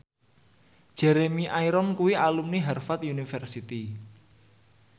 Jeremy Irons kuwi alumni Harvard university